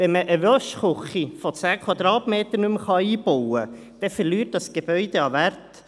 Wenn man eine Waschküche von 10 Quadratmetern nicht mehr einbauen kann, verliert das Gebäude an Wert.